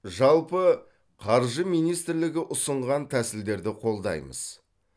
жалпы қаржы министрлігі ұсынған тәсілдерді қолдаймыз